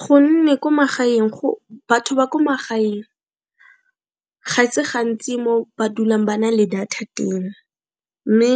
Gonne ko magaeng batho ba ko magaeng ga se gantsi mo ba dulang ba na le data teng, mme